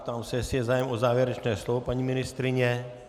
Ptám se, jestli je zájem o závěrečné slovo - paní ministryně?